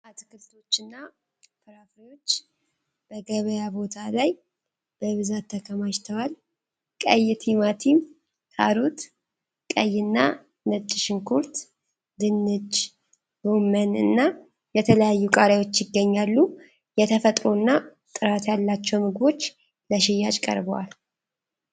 አትክልቶችና ፍራፍሬዎች በገበያ ቦታ ላይ በብዛት ተከማችተዋል። ቀይ ቲማቲም፣ ካሮት፣ ቀይና ነጭ ሽንኩርት፣ ድንች፣ ጎመን እና የተለያዩ ቃሪያዎች ይገኛሉ። የተፈጥሮና ጥራት ያላቸው ምግቦች ለሽያጭ ቀርበዋል።